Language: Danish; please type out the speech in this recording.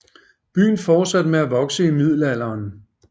Byen fortsatte med at vokse i Middelalderen